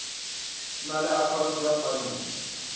na le akhaonte ya panka